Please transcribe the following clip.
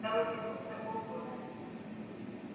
второй петух за полгода